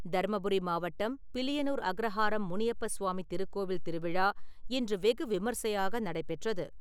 தர்மபுரி மாவட்டம், பிலியனூர் அக்ரஹாரம் முனியப்ப சுவாமி திருக்கோவில் திருவிழா இன்று வெகு விமர்சையாக நடைபெற்றது.